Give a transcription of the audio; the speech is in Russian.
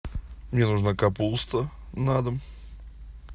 мне нужна капуста на дом